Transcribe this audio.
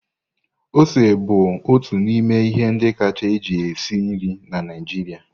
Ose bụ otu n'ime ihe ndị kacha eji esi nri na Naijiria.